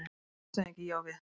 LANDSHÖFÐINGI: Ég á við.